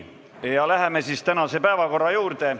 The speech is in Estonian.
Läheme tänase päevakorra juurde.